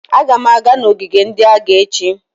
Aga m aga n'ogige ndị agha echi